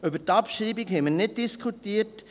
Über die Abschreibung haben wir nicht diskutiert.